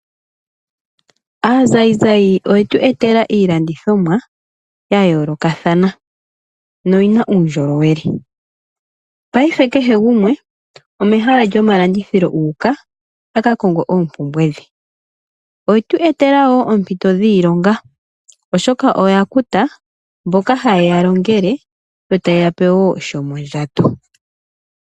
Aazayizayi oyetu etela iilandithomwa ya yoolokathana noyina uundjolowele paife kehe gumwe omehala lyomalandithilo u uka a ka konge oompumbwe dhe. Oyetu etela woo oompito dhiilonga oshoka oya kuta mboka haye ya longele etayeya pe woo shomondjato.